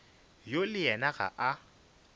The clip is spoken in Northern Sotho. yo le yena ga a